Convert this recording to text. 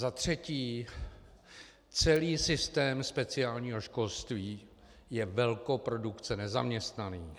Za třetí - celý systém speciálního školství je velkoprodukce nezaměstnaných.